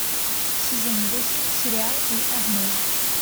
сезон восемь сериал эй арнольд